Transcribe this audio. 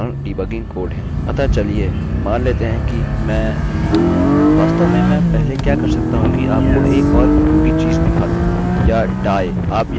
अतः चलिए मान लेते हैं कि मैं ummm वास्तव में मैं पहले क्या कर सकता हूँ कि आपको एक और उपयोगी चीज़ दिखाता हूँ या die आप यहाँ एक और फंक्शनfunction बता सकते हैं